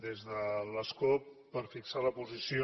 des de l’escó per fixar la posició